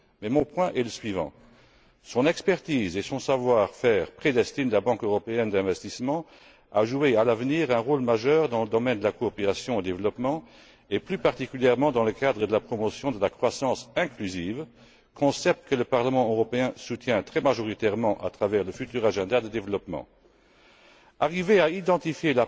Mais mon propos est le suivant son expertise et son savoir faire prédestinent la Banque européenne d'investissement à jouer, à l'avenir, un rôle majeur dans le domaine de la coopération au développement et, plus particulièrement, dans le cadre de la promotion de la croissance inclusive, concept que le Parlement européen soutient très majoritairement à travers le futur agenda de développement. Arriver à identifier